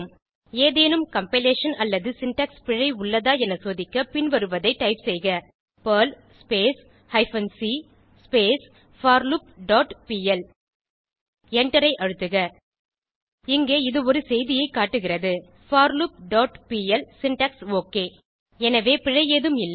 ஏதேனும் கம்பைலேஷன் அல்லது சின்டாக்ஸ் பிழை உள்ளதா என சோதிக்க பின்வருவதை டைப் செய்க Perl hyphen c forloop dot pl எண்டரை அழுத்துக இங்கே இது ஒரு செய்தியைக் காட்டுகிறது forloopபிஎல் சின்டாக்ஸ் ஒக் எனவே பிழை ஏதும் இல்லை